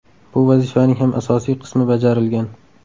Bu vazifaning ham asosiy qismi bajarilgan.